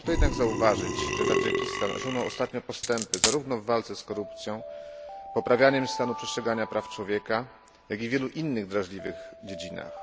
Warto jednak zauważyć, że Tadżykistan osiągnął ostatnio postępy zarówno w walce z korupcją, poprawianiem stanu przestrzegania praw człowieka, jak i w wielu innych drażliwych dziedzinach.